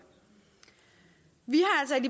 vi